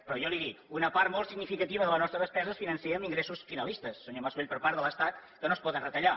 però jo li dic una part molt significativa de la nostra despesa es finança amb ingressos finalistes senyor mas colell per part de l’estat que no es poden retallar